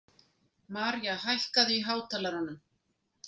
Maria, hækkaðu í hátalaranum.